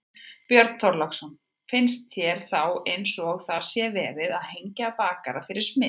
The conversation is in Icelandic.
Björn Þorláksson: Finnst þér þá eins og það sé verið að hengja bakara fyrir smið?